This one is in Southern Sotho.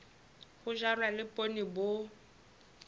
ho jalwa le poone bo